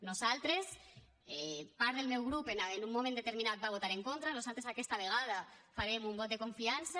nosaltres part del meu grup en un moment determinat hi va votar en contra nosaltres aquesta vegada farem un vot de confiança